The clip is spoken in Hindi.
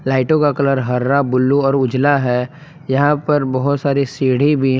लाइटों का कलर हरा ब्लू और उजला है यहां पे बहोत सारी सीढ़ी भी--